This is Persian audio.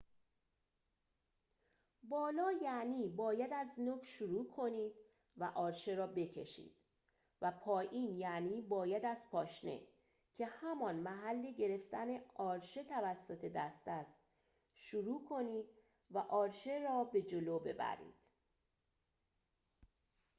بالا یعنی باید از نوک شروع کنید و آرشه را بکشید، و پایین یعنی باید از پاشنه که همان محل گرفتن آرشه توسط دست است شروع کنید و آرشه را به جلو ببرید